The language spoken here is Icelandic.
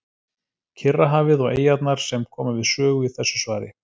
Kyrrahafið og eyjarnar sem koma við sögu í þessu svari.